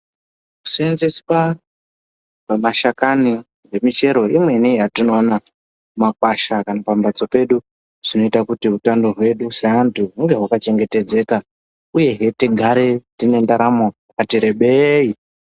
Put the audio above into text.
Kuseenzeswa kwamashakani emichero imweni yatinoona mumakwasha kana kuti pambatso pedu zvinoita kuti utano hwedu seantu hinge hwakachengetedzeka uyehe tigare tine ndaramo yakati rebei.